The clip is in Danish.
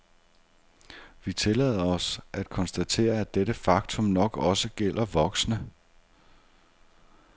Vi tillader os at konstatere, at dette faktum nok også gælder voksne.